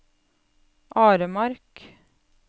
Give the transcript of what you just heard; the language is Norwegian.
Aremark